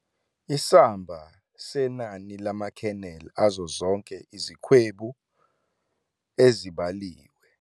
Isamba senani lama-kernel azo zonke izikhwebu ezibaliwe